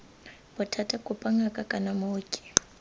bothata kopa ngaka kana mooki